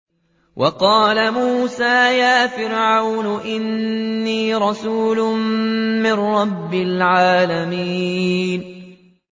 وَقَالَ مُوسَىٰ يَا فِرْعَوْنُ إِنِّي رَسُولٌ مِّن رَّبِّ الْعَالَمِينَ